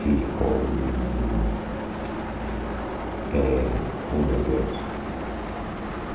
Fiz com... Eh Oh, meu Deus.